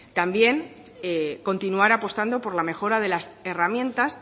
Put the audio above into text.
también continuar apostando por la mejora de las herramientas